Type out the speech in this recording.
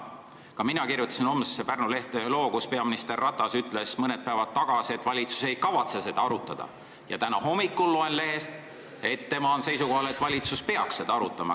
Ka mina kirjutasin homsesse Pärnu lehte ühe loo, sest peaminister Ratas ütles mõned päevad tagasi, et valitsus ei kavatse seda arutada, kuid täna hommikul lugesin lehest, et ta on seisukohal, et valitsus peaks seda arutama.